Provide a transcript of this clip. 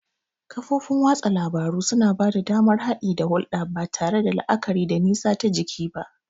Kafofin watsa labaru suna ba da damar haɗi da hulɗa ba tare da la'akari da nisa ta jiki ba.